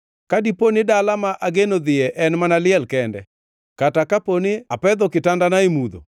Ka dipo ni dala ma ageno dhiye en mana liel kende, kata kapo ni apedho kitandana e mudho,